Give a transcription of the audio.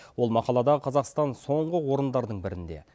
ол мақалада қазақстан соңғы орындардың бірінде